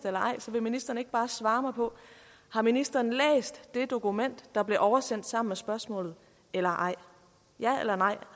eller ej så vil ministeren ikke bare svare mig på har ministeren læst det dokument der blev oversendt sammen med spørgsmålet eller ej